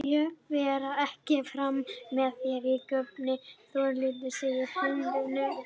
Ég fer ekki framar með þér að gröfinni Þórhildur, segi ég á heimleiðinni.